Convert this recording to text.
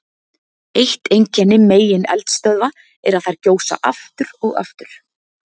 Eitt einkenni megineldstöðva er að þær gjósa aftur og aftur.